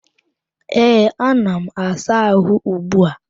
Ee, ana m asa àhụ́ ugbu a.